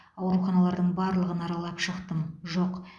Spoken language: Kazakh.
ауруханалардың барлығын аралап шықттым жоқ